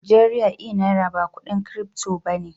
Najeriya e Naira ba kudin crypto ba ne.